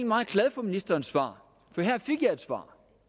meget glad for ministerens svar for